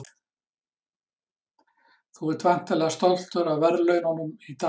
Þú ert væntanlega stoltur af verðlaununum í dag?